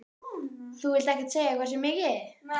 Þú vilt ekkert segja hversu mikið?